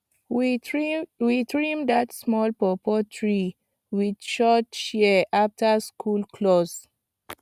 we trim that small pawpaw tree with short shears after school close